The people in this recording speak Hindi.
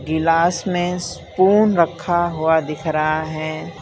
गिलास में स्पून रखा हुआ दिख रहा है।